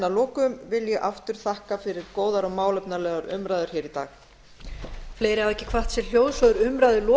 að lokum vil ég aftur þakka fyrir góðar og málefnalegar umræður hér í dag